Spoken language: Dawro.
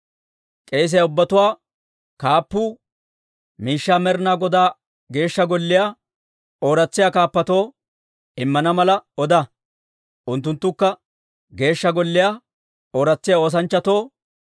K'eesiyaa ubbatuwaa kaappuu miishshaa Med'ina Godaa Geeshsha Golliyaa ooratsisiyaa kaappatoo immana mala oda. Unttunttukka Geeshsha Golliyaa ooratsiyaa oosanchchatoo,